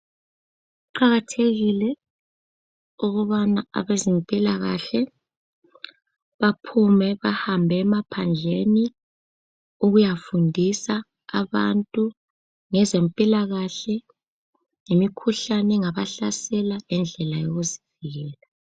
Kuqakathekile ukubana abezempilakahle baphume bahambe emaphandleni ukuyafundisa abantu ngezempilakahle, ngemikhuhlane engabahlasela langendlela yokuzivikela.